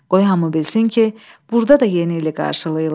Qoy hamı bilsin ki, burda da yeni ili qarşılayırlar.